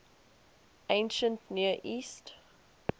ancient near east